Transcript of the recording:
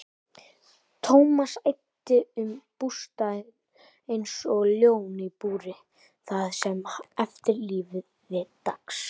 Thomas æddi um bústaðinn einsog ljón í búri það sem eftir lifði dags.